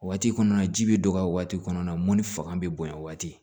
O waati kɔnɔna ji bɛ dɔgɔya waati kɔnɔna na mɔnni fanga bɛ bonya o waati